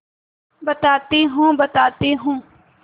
बताती हूँ बताती हूँ